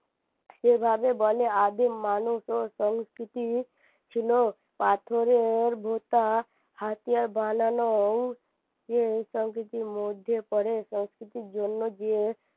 যেভাবে বলে আদিম মানুষ ও সংস্কৃতি ছিল পাথরের ভোঁতা হাতিয়ার বানানো ইয়ে সংস্কৃতির মধ্যে পড়ে সংস্কৃতির জন্য গিয়ে